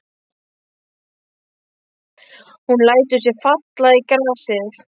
Hún lætur sig falla í grasið.